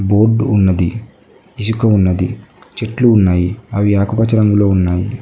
Board ఉన్నది ఇసుక ఉన్నది చెట్లు ఉన్నాయి అవి ఆకుపచ్చ రంగులో ఉన్నాయి.